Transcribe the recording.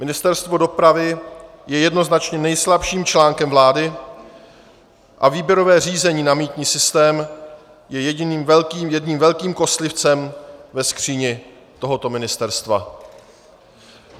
Ministerstvo dopravy je jednoznačně nejslabším článkem vlády a výběrové řízení na mýtný systém je jedním velkým kostlivcem ve skříni tohoto ministerstva.